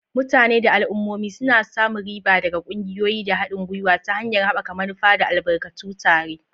Mutane da al'ummomi suna samun riba daga ƙungiyoyi da haɗin gwiwa ta hanyar haɓaka manufa da albarkatu tare.